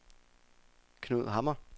Knud Hammer